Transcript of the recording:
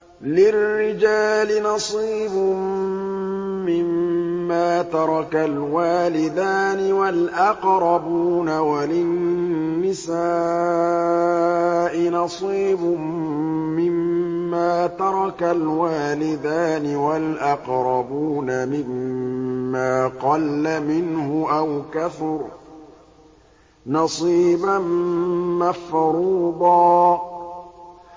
لِّلرِّجَالِ نَصِيبٌ مِّمَّا تَرَكَ الْوَالِدَانِ وَالْأَقْرَبُونَ وَلِلنِّسَاءِ نَصِيبٌ مِّمَّا تَرَكَ الْوَالِدَانِ وَالْأَقْرَبُونَ مِمَّا قَلَّ مِنْهُ أَوْ كَثُرَ ۚ نَصِيبًا مَّفْرُوضًا